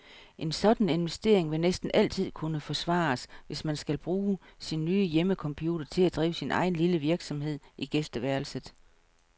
En sådan investering vil næsten altid kun kunne forsvares, hvis man skal bruge sin nye hjemmecomputer til at drive sin egen lille virksomhed i gæsteværelset.